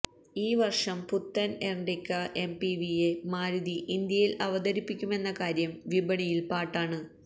ഈ വര്ഷം പുത്തന് എര്ട്ടിഗ എംപിവിയെ മാരുതി ഇന്ത്യയില് അവതരിപ്പിക്കുമെന്ന കാര്യം വിപണിയില് പാട്ടാണ്